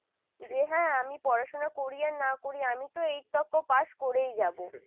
যে হ্যাঁ আমি পড়াশোনা করি আর না করি আমি তো pass করেই যাবো ।